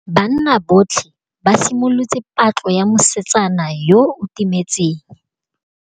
Banna botlhê ba simolotse patlô ya mosetsana yo o timetseng.